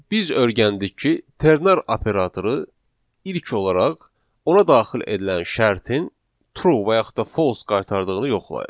Biz öyrəndik ki, ternar operatoru ilk olaraq ona daxil edilən şərtin true və yaxud da false qaytardığını yoxlayır.